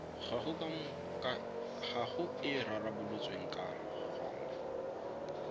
gago e rarabolotsweng ka gona